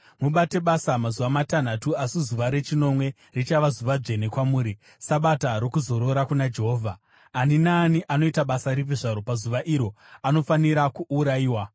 Mubate basa, mazuva matanhatu, asi zuva rechinomwe richava zuva dzvene kwamuri, Sabata rokuzorora kuna Jehovha. Ani naani anoita basa ripi zvaro pazuva iro anofanira kuurayiwa.